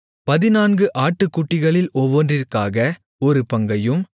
பதினான்கு ஆட்டுக்குட்டிகளில் ஒவ்வொன்றிற்காக ஒரு பங்கையும்